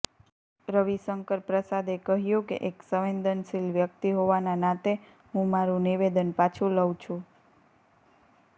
રવિશંકર પ્રસાદે કહ્યું કે એક સંવેદનશીલ વ્યક્તિ હોવાના નાતે હું મારું નિવેદન પાછું લઉં છું